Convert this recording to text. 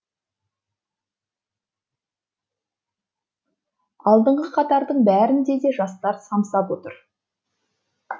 алдынғы қатардың бәрінде де жастар самсап отыр